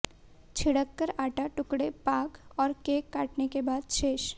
छिड़ककर आटा टुकड़े पाक और केक काटने के बाद शेष